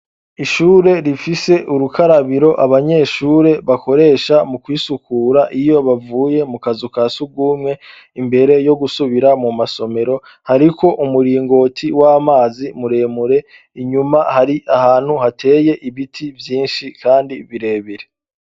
Ishure, rifise ubukarabiro abanyeshure bakoresha mu kwisukura iyo bavuye mu kazu ka sugumwe imbere yo gusubira mu masomero, hariko umuringoti w'amazi muremure, inyuma hari ahantu hateye ibiti vyinshi kandi birebire.